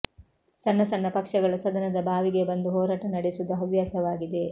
ಸಣ್ಣ ಸಣ್ಣ ಪಕ್ಷಗಳು ಸದನದ ಬಾವಿಗೆ ಬಂದು ಹೋರಾಟ ನಡೆಸುವುದು ಹವ್ಯಾಸವಾಗಿದೆ